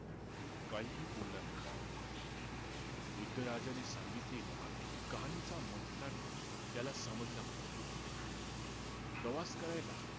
काहीही बोलला नाही वृद्ध राजाने सांगितलेला कहाणीचा माथितार्थ त्याला समजला होता प्रवास करायला